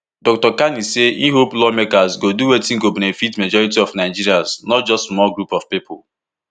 dr kani say e hope lawmakers go do wetin go benefit majority of nigerians not just small group of pipo